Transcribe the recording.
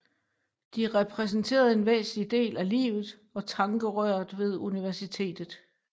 De repræsenterede en væsentlig del af livet og tankerøret ved universitetet